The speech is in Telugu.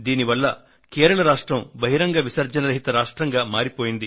దీనివల్ల కేరళ రాష్ట్రం బహిరంగ విసర్జన రహిత రాష్ట్రంగా మారిపోయింది